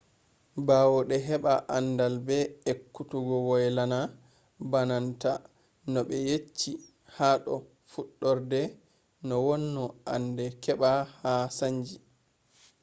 baawde hebaa aandal be ekkutugo waylana baananta no be yecchi haa dou fuddurde noo wonno annde kebaa ma saanji